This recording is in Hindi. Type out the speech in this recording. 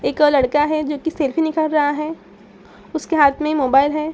एक और लड़का है जो कि सेल्फी निकार रहा है। उसके हाथ में मोबाइल है।